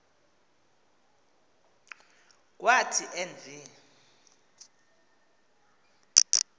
kwathi en v